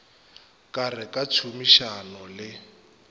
ka re ka tšhomišano le